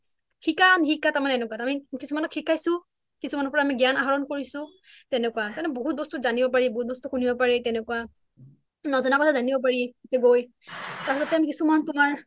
শিকাম শিকা তাৰ মানে এনেকুৱা তাৰ মানে কিছুমানক শিকাইছো কিছুমানৰ পৰা আমি জ্ঞান আহৰণ কৰাইছো তেনেকুৱা তাৰ মানে বহুত বস্তু জানিব পাৰি শুনিব পাৰি তেনেকুৱা নজনা কথা জানিব পাৰি তাৰ পিছতে কিছুমান তোমাৰ